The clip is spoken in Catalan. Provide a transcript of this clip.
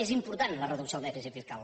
és important la reducció del dèficit fiscal